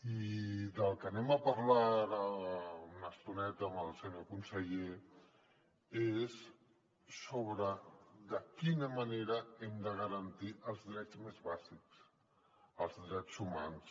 i del que parlarem ara una estoneta amb el senyor conseller és sobre de quina manera hem de garantir els drets més bàsics els drets humans